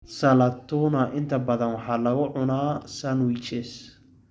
Salad Tuna inta badan waxaa lagu cunaa sandwiches.